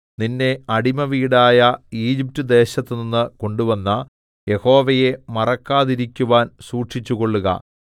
നിന്നെ അടിമവീടായ ഈജിപ്റ്റ്ദേശത്തുനിന്ന് കൊണ്ടുവന്ന യഹോവയെ മറക്കാതിരിക്കുവാൻ സൂക്ഷിച്ചുകൊള്ളുക